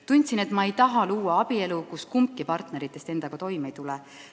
Tundsin, et ma ei taha luua abielu, kus kumbki partneritest endaga toime ei tule.